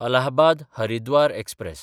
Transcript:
अलाहबाद–हरिद्वार express